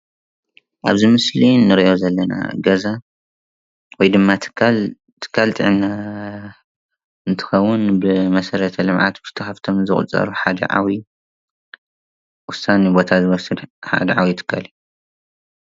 ኣብዚ ምስሊ እንሪኦ ዘለና ገዛ ወይ ድማ ትካል ትካል ጥዕና እንትከውን ካብቶም መሰረተ ልምዓት ተባሂሎም ዝቁፀሩ ሓደ ዓብይ ወሳኒ ቦታ ዝወስድ ሓደ ዓብይ ትካል እዩ።